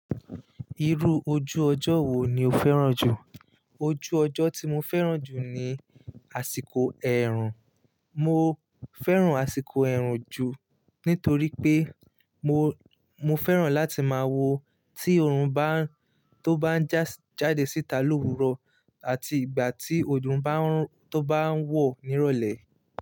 Irú ojú ọjọ́ wo ni o fẹ́ràn jù? Ojú ọjọ́ tí mo fẹ́ràn jù ni àsìkò ẹ̀rùn. Mo fẹ́ràn àsìkò ẹ̀rùn jù nítorí pé mo, mo fẹ́ràn láti máa wo tí oòrùn bá ń tó bá ń jáde síta l'òwúrò àti ìgbà tí oòrùn bá ń tó bá ń wọ̀ nírọ̀lẹ́